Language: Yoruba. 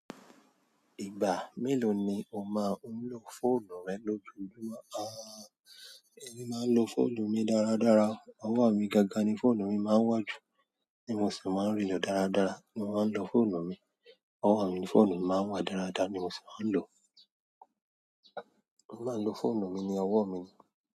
Ìgbà mélòó ni o máa ń lò fóònù rẹ lójoojúmọ́ èmi máa ń lò fóònù mi dáradára ọwọ́ mi gangan ni fóònù mi máa ń wà jù, ti mo sì máa ń rí lò dáradára, mo máa ń lò fóònù mi ọwọ́ mi ni fóònù mi máa ń wà dáradára ni mo sì máa ń lò ó. Mo máa ń lò fóònù mi ní ọwọ́ mi.